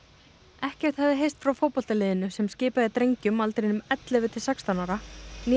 ekkert hafði heyrst frá fótboltaliðinu sem skipað er drengjum á aldrinum ellefu til sextán ára né